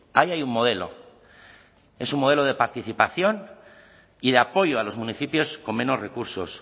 ahí hay un modelo es un modelo de participación y de apoyo a los municipios con menos recursos